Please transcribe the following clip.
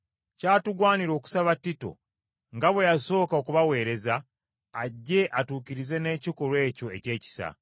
Kyatugwanira okusaba Tito, nga bwe yasooka okubaweereza, ajje atuukirize n’ekikolwa ekyo eky’ekisa.